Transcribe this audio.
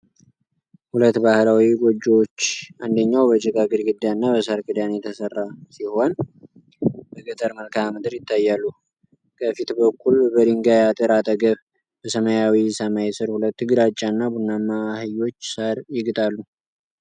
ሁለት ባህላዊ ጎጆዎች፣ አንደኛው በጭቃ ግድግዳና በሣር ክዳን የተሠራ ሲሆን፣ በገጠር መልክዓ ምድር ይታያሉ። ከፊት በኩል፣ በድንጋይ አጥር አጠገብ፣ በሰማያዊ ሰማይ ስር ሁለት ግራጫና ቡናማ አህዮች ሣር ይግጣሉ።